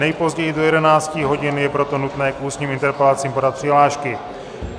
Nejpozději do 11 hodin je proto nutné k ústním interpelacím podat přihlášky.